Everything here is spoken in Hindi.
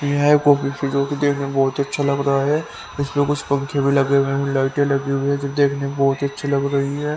यह कॉफी जो कि देखने में बहुत ही अच्छा लग रहा है इसमें कुछ पंखे भी लगे हुए हैं लाइट लगी हुई है जो देखने में बहुत ही अच्छी लग रही है।